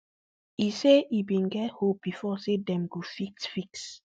e say e bin get hope bifor say dem go fit fix